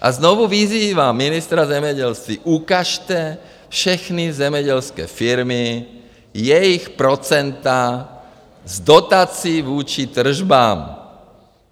A znovu vyzývám ministra zemědělství, ukažte všechny zemědělské firmy, jejich procenta z dotací vůči tržbám.